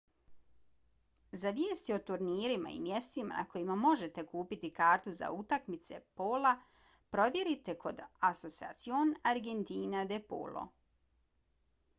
za vijesti o turnirima i mjestima na kojima možete kupiti kartu za utakmice pola provjerite kod asociacion argentina de polo